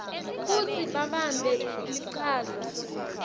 kutsi babambe lichaza